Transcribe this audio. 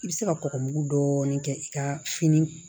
I bɛ se ka kɔkɔ mugu dɔɔnin kɛ i ka fini